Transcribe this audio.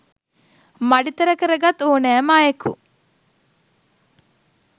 මඩි තර කරගත් ඕනෑම අයෙකු